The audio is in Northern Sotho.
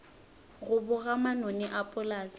go boga manoni a polase